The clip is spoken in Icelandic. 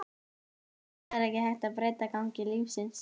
Þú veist að það er ekki hægt að breyta gangi lífsins.